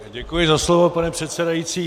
Děkuji za slovo, pane předsedající.